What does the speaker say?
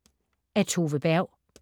Af Tove Berg